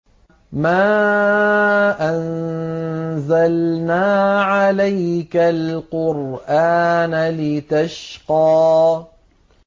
مَا أَنزَلْنَا عَلَيْكَ الْقُرْآنَ لِتَشْقَىٰ